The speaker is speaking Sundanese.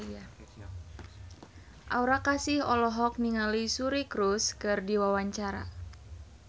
Aura Kasih olohok ningali Suri Cruise keur diwawancara